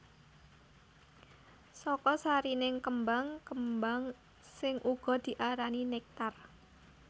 Saka sarining kembang kembang sing uga diarani néktar